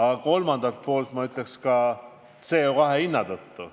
Ja kolmandalt poolt, ma ütleks, ka CO2 hinna tõttu.